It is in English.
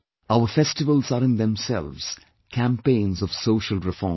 Our festivals are in themselves campaigns of social reform too